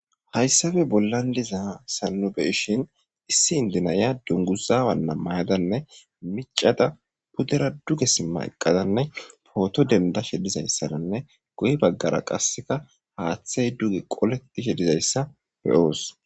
hayssabe bollan diza sanube ishin issi indinaya dunguzaawannammayadanne micada pudera duge simma eqqadanne pooto dendashe dizayssananne goy baggara qasseka haaththey duge qoletishe dizayssa beyoos